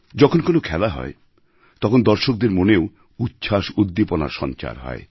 যখন কোনও খেলা হয় তখন দর্শকদের মনেও উচ্ছ্বাসউদ্দীপনার সঞ্চার হয়